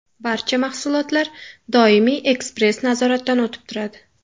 Barcha mahsulotlar doimiy ekspress-nazoratdan o‘tib turadi.